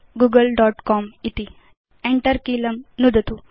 ENTER कीलं नुदतु